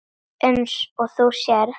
Eins og þú sérð.